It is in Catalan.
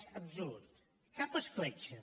és absolut cap escletxa